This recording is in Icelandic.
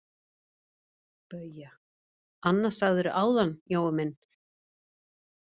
BAUJA: Annað sagðirðu áðan, Jói minn.